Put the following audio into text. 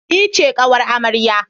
Ni ce ƙawar amarya